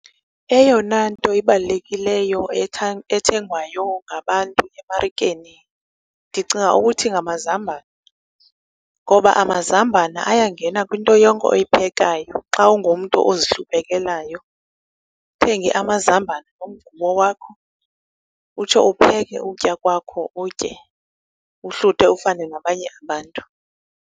Eyona nto ibalulekileyo ethengwayo ngabantu emarikeni ndicinga ukuthi ngamazambane. Ngoba amazambane ayangena kwinto yonke oyiphekayo xa ungumntu ozihluphekelayo, uthenge amazambane nomgubo wakho utsho upheke ukutya kwakho utye uhluthe ufane nabanye abantu.